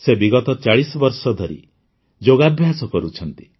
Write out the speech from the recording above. ସେ ବିଗତ ୪୦ ବର୍ଷ ଧରି ଯୋଗାଭ୍ୟାସ କରୁଛନ୍ତି